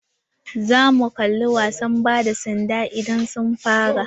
Za mu kalla wasan ba da sanda idan sun fara.